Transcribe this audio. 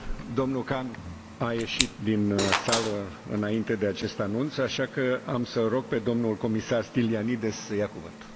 Domnul Khan a ieșit din sală înainte de acest anunț, așa că îl rog pe domnul comisar Stylianides să ia cuvântul.